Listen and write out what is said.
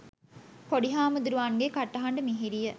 පොඩි හාමුදුරුවන්ගේ කටහඬ මිහිරිය,